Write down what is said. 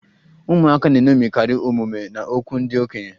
Ụmụaka na-eṅomikarị omume na okwu ndị okenye